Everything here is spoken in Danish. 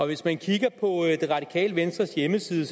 hvis man kigger på det radikale venstres hjemmeside